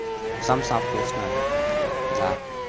самса вкусная да